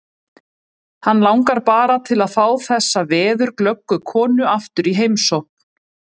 Hann langar bara til að fá þessa veðurglöggu konu aftur í heimsókn.